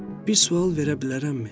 Bir sual verə bilərəmmi?